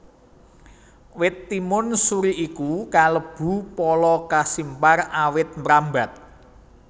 Wit timun suri iku kalebu pala kasimpar awit mrambat